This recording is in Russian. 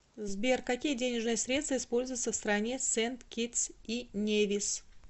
сбер какие денежные средства используются в стране сент китс и невис